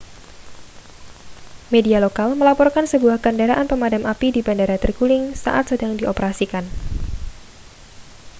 media lokal melaporkan sebuah kendaraan pemadam api di bandara terguling saat sedang dioperasikan